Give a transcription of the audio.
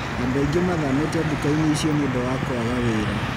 Andũ aingĩ mathamĩte duka-inĩ icio nĩũndũ wa kwaga wĩra.